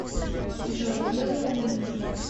джой дело во мне